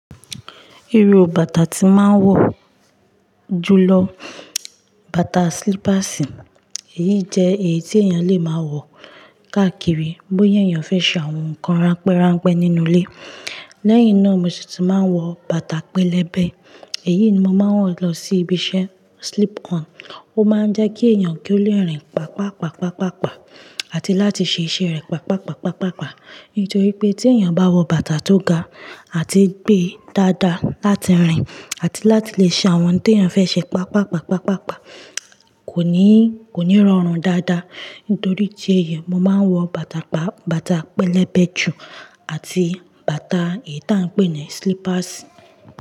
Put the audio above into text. Irú bàtà tí máa ń wọ̀ jùlọ, bàtà slippers. Èyí jẹ́ èyí tí èèyàn lè máa wọ̀ káàkiri, bóyá èèyàn fẹ́ ṣe àwọn nǹkan ránpẹ́ ránpẹ́ nínú ilé. Lẹ́yìn náà mo sì ti máa ń wọ bàtà pẹlẹbẹ. Èyí ni mo máa ń wọ̀ lọ sí ibi iṣẹ́, slip-on. Ó máa ń jẹ́ kí èèyàn kí ó le rìn pàápàá, pàápàá, pàápàá àti láti ṣe iṣẹ́ rẹ̀ pàápàá, pàápàá, pàápàá. Nítorí pé tí èèyàn bá wọ bàtà tó ga àti gbé dáadáa láti rìn àti láti lè ṣe àwọn tí èèyàn fẹ́ ṣe pàápàá, pàápàá, pàápàá kò ní, kò ní rọrùn dáadáa. Nítorí ìdí èyí, mo máa ń wọ bàtà, bàtà pẹlẹbẹ jù àti bàtà èyí tí à ń pè ní slippers.